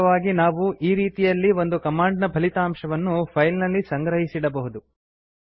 ವಾಸ್ತವವಾಗಿ ನಾವು ಈ ರೀತಿಯಲ್ಲಿ ಒಂದು ಕಮಾಂಡ್ ನ ಫಲಿತಾಂಶವನ್ನು ಫೈಲ್ ನಲ್ಲಿ ಸಂಗ್ರಹಿಸಿಡಬಹುದು